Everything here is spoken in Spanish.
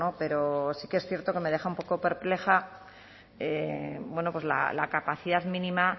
pero sí que es cierto que me deja un poco perpleja la capacidad mínima